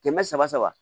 Kɛmɛ saba saba